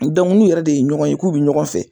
n'u yɛrɛ de ye ɲɔgɔn ye k'u bɛ ɲɔgɔn fɛ,